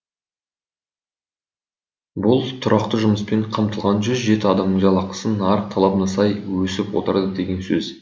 бұл тұрақты жұмыспен қамтылған жүз жеті адамның жалақысы нарық талабына сай өсіп отырады деген сөз